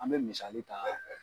An bɛ misali ta.